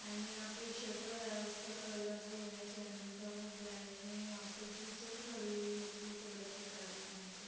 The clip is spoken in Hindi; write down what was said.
एंड यहाँ पे शटर है उसका कलर जो है चैनल का वो ब्लैक है | वहाँ पे टीचर खड़ी हुई है ब्लू कलर की साड़ी पेहन कर |